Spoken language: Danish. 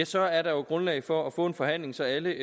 så er der jo grundlag for at få en forhandling så alle